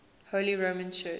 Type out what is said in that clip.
holy roman church